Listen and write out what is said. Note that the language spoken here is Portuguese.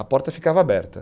A porta ficava aberta.